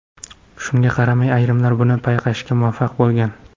Shunga qaramay ayrimlar uni payqashga muvaffaq bo‘lgan.